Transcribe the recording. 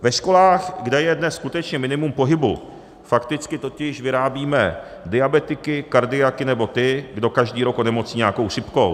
Ve školách, kde je dnes skutečně minimum pohybu, fakticky totiž vyrábíme diabetiky, kardiaky nebo ty, kdo každý rok onemocní nějakou chřipkou.